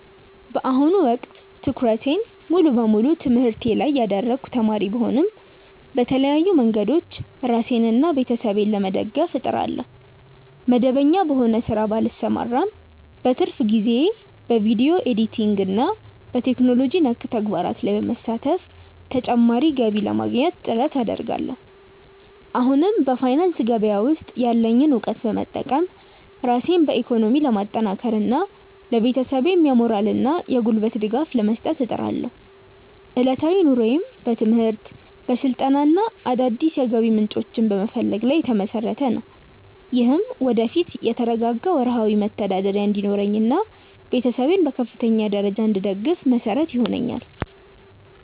በአሁኑ ወቅት ትኩረቴን ሙሉ በሙሉ በትምህርቴ ላይ ያደረግኩ ተማሪ ብሆንም፣ በተለያዩ መንገዶች ራሴንና ቤተሰቤን ለመደገፍ እጥራለሁ። መደበኛ በሆነ ሥራ ባልሰማራም፣ በትርፍ ጊዜዬ በቪዲዮ ኤዲቲንግና በቴክኖሎጂ ነክ ተግባራት ላይ በመሳተፍ ተጨማሪ ገቢ ለማግኘት ጥረት አደርጋለሁ። እንዲሁም በፋይናንስ ገበያ ውስጥ ያለኝን እውቀት በመጠቀም ራሴን በኢኮኖሚ ለማጠናከርና ለቤተሰቤም የሞራልና የጉልበት ድጋፍ ለመስጠት እጥራለሁ። ዕለታዊ ኑሮዬም በትምህርት፣ በስልጠናና አዳዲስ የገቢ ምንጮችን በመፈለግ ላይ የተመሰረተ ነው። ይህም ወደፊት የተረጋጋ ወርሃዊ መተዳደሪያ እንዲኖረኝና ቤተሰቤን በከፍተኛ ደረጃ እንድደግፍ መሰረት ይሆነኛል።